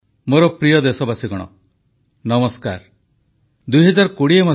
ଲଦ୍ଦାଖରେ ଯେଉଁ ବୀର ଯବାନମାନେ ଶହୀଦ ହୋଇଛନ୍ତି ସେମାନଙ୍କ ନିକଟରେ ଦେଶ କୃତଜ୍ଞ ଓ ନତମସ୍ତକ ପ୍ରଧାନମନ୍ତ୍ରୀ